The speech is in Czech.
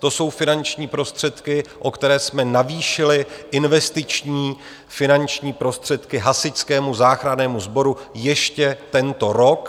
To jsou finanční prostředky, o které jsme navýšili investiční finanční prostředky Hasičskému záchrannému sboru ještě tento rok.